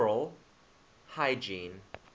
oral hygiene